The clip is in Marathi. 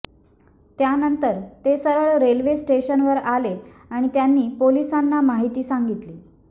त्यांनंतर ते सरळ रेल्वे स्टेशनवर आले आणि त्यांनी पोलिसांना माहिती सांगितली